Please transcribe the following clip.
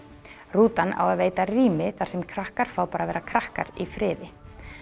rútan á að veita rými þar sem krakkar fá bara að vera krakkar í friði